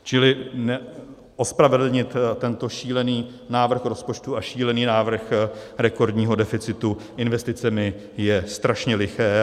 Čili ospravedlnit tento šílený návrh rozpočtu a šílený návrh rekordního deficitu investicemi je strašně liché.